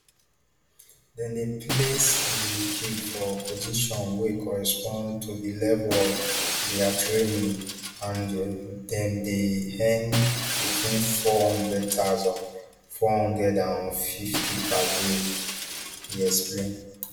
dem dey place di recruits for positions wey correspond to di level of dia training ande dem dey earn between four hundred thousand, five hundred and fifty per day e explain